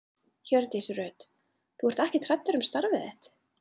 Hjördís Rut: Þú ert ekkert hræddur um starfið þitt?